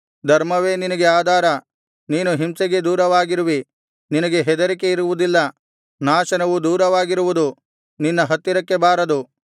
ಧರ್ಮವೇ ನಿನಗೆ ಆಧಾರ ನೀನು ಹಿಂಸೆಗೆ ದೂರವಾಗಿರುವಿ ನಿನಗೆ ಹೆದರಿಕೆ ಇರುವುದಿಲ್ಲ ನಾಶನವು ದೂರವಾಗಿರುವುದು ನಿನ್ನ ಹತ್ತಿರಕ್ಕೆ ಬಾರದು